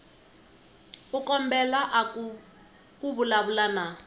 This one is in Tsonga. u kombela ku vulavula na